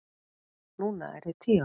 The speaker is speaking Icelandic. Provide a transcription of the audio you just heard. Núna er ég tíu ára.